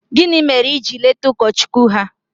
gini mere i jiri leta ụkọchukwu ha?